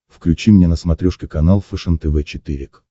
включи мне на смотрешке канал фэшен тв четыре к